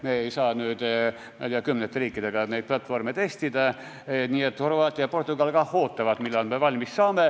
Me ei saa, ma ei tea, kümnete riikidega neid platvorme testida, nii et Horvaatia ja Portugal kah ootavad, millal me valmis saame.